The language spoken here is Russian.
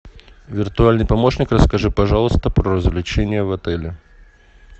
виртуальный помощник расскажи пожалуйста про развлечения в отеле